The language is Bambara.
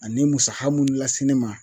Ani musaha mun lase ne ma